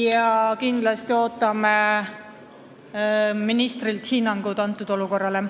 Ja kindlasti ootame ministrilt hinnangut sellele olukorrale.